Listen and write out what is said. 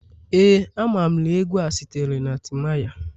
Ee, amam na egwu a sitere na timaya